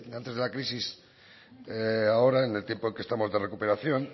antes de la crisis ahora en el tiempo en que estamos de recuperación